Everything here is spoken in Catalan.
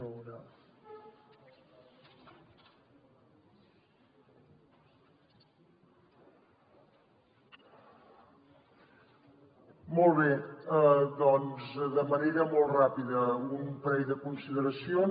molt bé doncs de manera molt ràpida un parell de consideracions